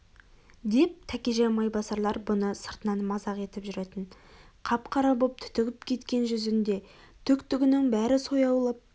деп тәкежан майбасарлар бұны сыртынан мазақ етіп жүретін қап-қара боп түтігіп кеткен жүзінде түк-түгінің бәрі сояулап